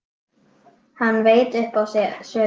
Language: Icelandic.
Hann veit upp á sig sökina.